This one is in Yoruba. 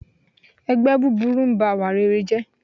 Ẹgbẹ́ búburú n ba ìwà rere jẹ́